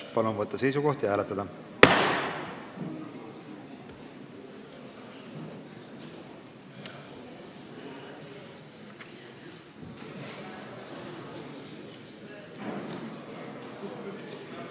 Palun võtta seisukoht ja hääletada!